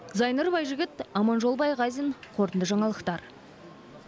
зайнұр байжігіт аманжол байғазин қорытынды жаңалықтар